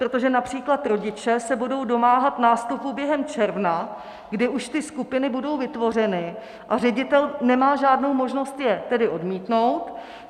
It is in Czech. Protože například rodiče se budou domáhat nástupu během června, kdy už ty skupiny budou vytvořeny, a ředitel nemá žádnou možnost je tedy odmítnout.